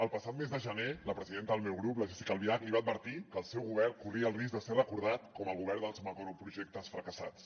el passat mes de gener la presidenta del meu grup la jéssica albiach li va advertir que el seu govern corria el risc de ser recordat com el govern dels macroprojectes fracassats